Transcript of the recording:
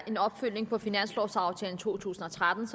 en opfølgning på finanslovaftalen for to tusind og tretten